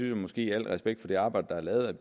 jeg måske i al respekt for det arbejde der er lavet at